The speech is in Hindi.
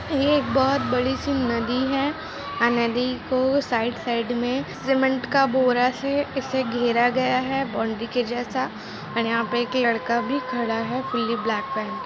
ये एक बोहत बड़ी-सी नदी है। आ नदी को साइड साइड में सीमेंट का बोरा से इसे घेरा गया है। बाउंड्री के जैसा और यहाँ पे एक लड़का भी खड़ा है फुल्ली ब्लैक पहन के।